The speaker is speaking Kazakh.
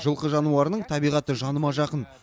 жылқы жануарының табиғаты жаныма жақын